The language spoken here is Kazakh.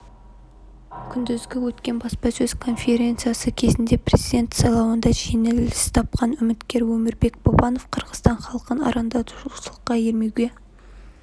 күндізгі өткен баспасөз конференциясы кезінде президент сайлауында жеңіліс тапқан үміткер өмірбек бабанов қырғызстан халқын арандатушылыққа ермеуге